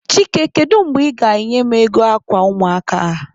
Chike, kedu mgbe ị ga-enye m ego akwa ụmụaka a?